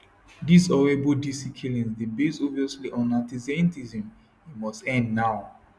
diz horrible dc killings dey based obviously on antisemitism e must end now